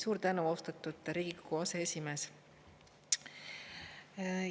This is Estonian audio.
Suur tänu, austatud Riigikogu aseesimees!